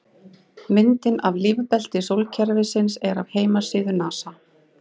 Myndin af lífbelti sólkerfisins er af heimasíðu NASA.